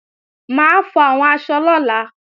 Mà á fọ àwọn aṣọ lọ́la